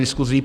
Děkuji.